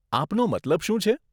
આપનો મતલબ શું છે?